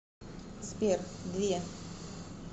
сбер две